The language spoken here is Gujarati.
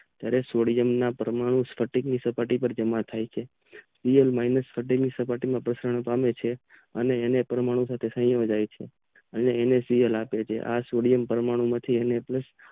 સોડિયમ ના પરમાણુ સપાટીમાં જમા થાય છે તે સપાટીમાં અને પરમાણુ અનેનાકલાગે છે આ સોડિયમ પરમાણુ માં